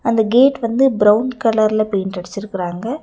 அந்த கேட் வந்து பிரவுன் கலர்ல பெயிண்ட் அடிச்சுருக்கறாங்க.